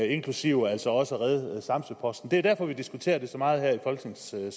inklusiv altså også redde samsø posten det er derfor vi diskuterer det så meget her i folketingssalen